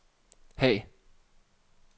Haag